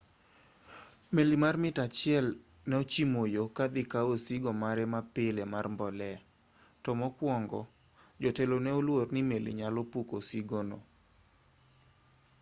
meli mar mita mia achiel ne ochimo yo kadhi kawo osigo mare mapile mar mbolea to mokuongo jotelo ne oluor ni meli nyalo puko osigono